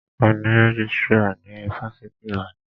A ní rẹ́jístrà ní ifáfitì Ibadan.